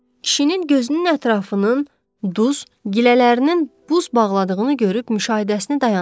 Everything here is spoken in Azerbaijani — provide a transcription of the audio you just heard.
Kişinin gözünün ətrafının duz, gilələrinin buz bağladığını görüb müşahidəsini dayandırdı.